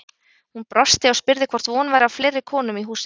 Hún brosti og spurði hvort von væri á fleiri konum í húsið.